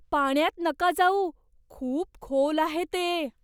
पाण्यात नका जाऊ. खूप खोल आहे ते!